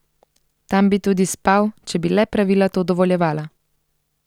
Tam bi tudi spal, če bi le pravila to dovoljevala.